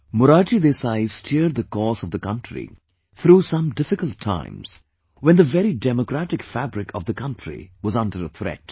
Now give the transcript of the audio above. Morarji Desai steered the course of the country through some difficult times, when the very democratic fabric of the country was under a threat